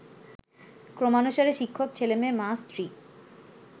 ক্রমানুসারে শিক্ষক, ছেলেমেয়ে, মা, স্ত্রী